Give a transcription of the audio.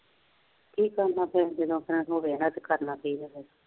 ਕੀ ਕਹਿੰਦਾ ਫੇਰ ਜਦੋਂ ਕਰਨਾ ਪਈ